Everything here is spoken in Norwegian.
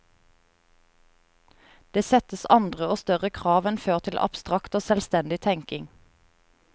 Det settes andre og større krav enn før til abstrakt og selvstendig tenking.